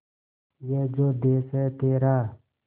ये जो देस है तेरा